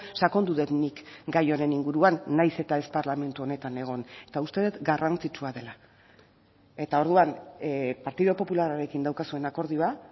sakondu dut nik gai honen inguruan nahiz eta ez parlamentu honetan egon eta uste dut garrantzitsua dela eta orduan partidu popularrarekin daukazuen akordioa